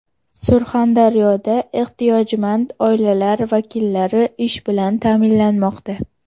Surxondaryoda ehtiyojmand oilalar vakillari ish bilan ta’minlanmoqda.